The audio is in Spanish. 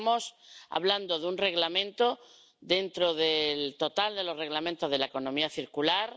Estamos hablando de un Reglamento dentro del total de Reglamentos sobre la economía circular